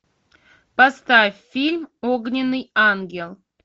поставь фильм огненный ангел